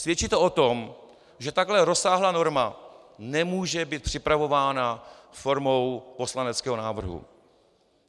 Svědčí to o tom, že takhle rozsáhlá norma nemůže být připravována formou poslaneckého návrhu.